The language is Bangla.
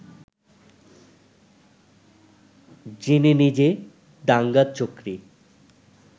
যিনি নিজে দাঙ্গার চক্রী